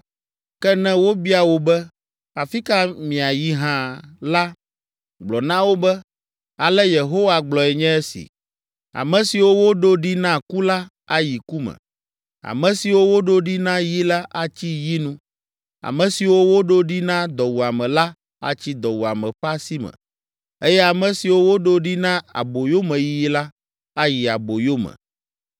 Ke ne wobia wò be, ‘Afi ka miayi hã’ la, gblɔ na wo be, ‘Ale Yehowa gblɔe nye esi: “ ‘Ame siwo woɖo ɖi na ku la, ayi ku me. Ame siwo woɖo ɖi na yi la, atsi yi nu. Ame siwo woɖo ɖi na dɔwuame la atsi dɔwuame ƒe asi me. Eye ame siwo woɖo ɖi na aboyomeyiyi la, ayi aboyome.’ ”